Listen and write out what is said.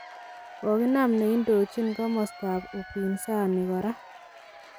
Koginam nendojin komostoab upinzani korak.